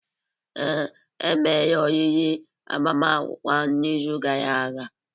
Ee, e mere oriri agbamakwụkwọ ahụ n'izu gara aga.